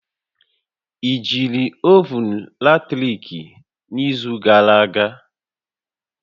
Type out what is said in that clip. I jiri ovun latrik n'izu gara aga?